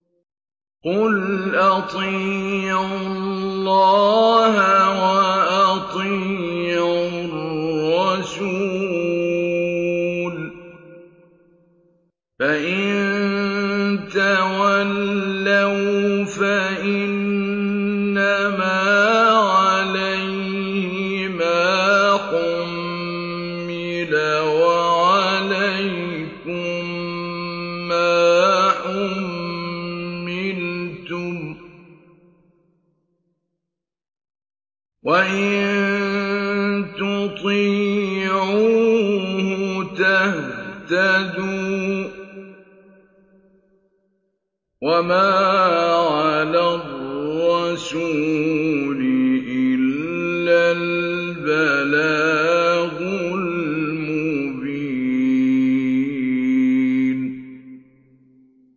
قُلْ أَطِيعُوا اللَّهَ وَأَطِيعُوا الرَّسُولَ ۖ فَإِن تَوَلَّوْا فَإِنَّمَا عَلَيْهِ مَا حُمِّلَ وَعَلَيْكُم مَّا حُمِّلْتُمْ ۖ وَإِن تُطِيعُوهُ تَهْتَدُوا ۚ وَمَا عَلَى الرَّسُولِ إِلَّا الْبَلَاغُ الْمُبِينُ